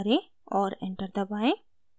और enter दबाएं